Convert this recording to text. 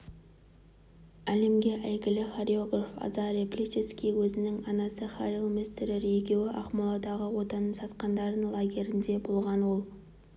әлемге әйгілі хореограф азарий плисецкий өзінің анасы рахиль мессерер екеуі ақмоладағы отанын сатқандардың лагерінде болған ол